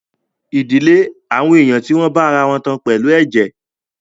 Ìdílé àwọn ènìyàn tí wọ́n bá ara wọn tán pẹ̀lú ẹ̀jẹ̀